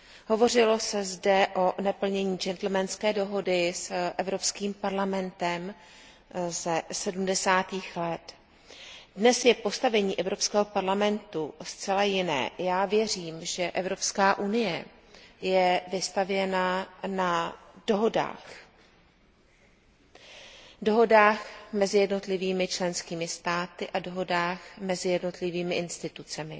Hovořilo se zde o neplnění džentlmenské dohody s Evropským parlamentem ze sedmdesátých let. Dnes je postavení Evropského parlamentu zcela jiné. Já věřím, že Evropská unie je vystavěna na dohodách mezi jednotlivými členskými státy a dohodách mezi jednotlivými orgány a institucemi.